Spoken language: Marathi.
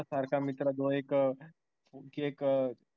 सारख्या मित्राजवळ एक एक